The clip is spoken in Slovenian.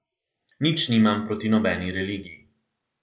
Nič nimam proti nobeni religiji.